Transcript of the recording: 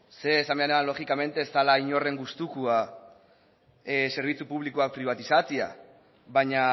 logikamente ez da inoren gustukoa zerbitzu publikoak pribatizatzea baina